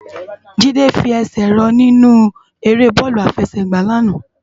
Jide fi èsè rò ninú èrè bòlú àfèsègbá àná